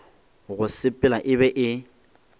go sepela e be e